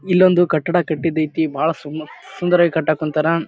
ಇಲ್ಲೊಂದು ಕಟ್ಟಡ ಕಟ್ಟಿದ್ ಅಯ್ತ್ನಿ ಬಹಳ ಸುನ್ ಸುಂದರವಾಗ ಕಟ್ಟಾಕ್ ಕುಂತಾರ.